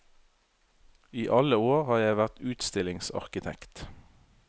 I alle år har jeg vært utstillingsarkitekt.